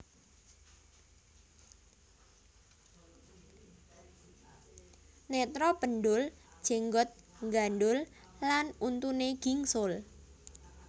Netra pendhul jenggot nggandhul lan untune gingsul